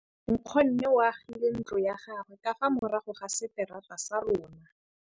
Nkgonne o agile ntlo ya gagwe ka fa morago ga seterata sa rona.